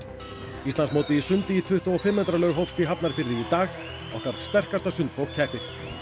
Íslandsmótið í sundi í tuttugu og fimm metra laug hófst í Hafnarfirði í dag okkar sterkasta fólk keppir